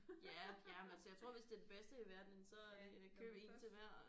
Ja jamen altså jeg tror hvis det er det bedste i verden så øh køb 1 til hver og